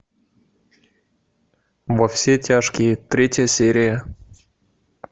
во все тяжкие третья серия